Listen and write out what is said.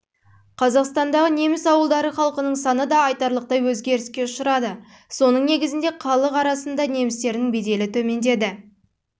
қазақстандағы неміс ауылдары халқының саны да айтарлықтай өзгеріске ұшырады соның негізінде халық арасында немістердің беделі төмендеді